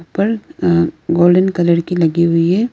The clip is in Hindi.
ऊपर गोल्डन कलर की लगी हुई है।